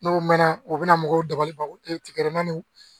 N'o mɛnna u bɛna mɔgɔw dabali ban tigɛrɛnna